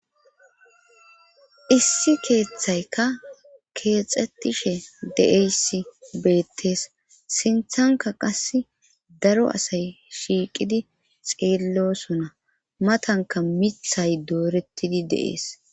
issi keeththaykka keexetishe de7eysi beettees sinthanka qass daro asay shiiqidi xeellosona matanka mithay dooretidi de'ees